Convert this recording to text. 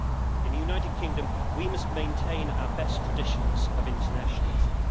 In the United Kingdom, we must maintain our best traditions of internationalism.